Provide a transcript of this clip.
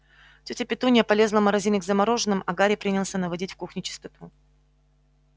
тётя петунья полезла в морозильник за мороженым а гарри принялся наводить в кухне чистоту